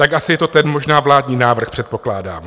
Tak asi je to ten možná vládní návrh, předpokládám.